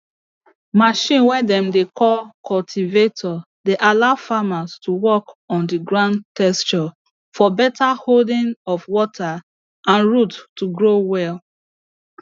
machine way dem dey call cultivator dey allow farmers to work on the ground texture for beta holding of water and root to grow well